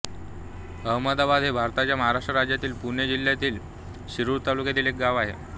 आमदाबाद हे भारताच्या महाराष्ट्र राज्यातील पुणे जिल्ह्यातील शिरूर तालुक्यातील एक गाव आहे